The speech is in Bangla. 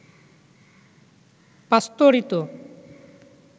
পাস্তুরিত